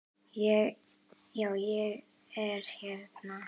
Já, ég er hérna.